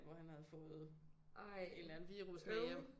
Jeg tror han havde fået en eller anden virus med hjem